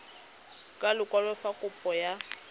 ka lekwalo fa kopo ya